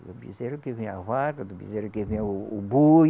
Do bezerro que vem a vaca, do bezerro que vem o o boi.